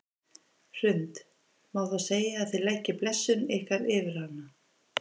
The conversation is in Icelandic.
Hrund: Má þá segja að þið leggið blessun ykkar yfir hana?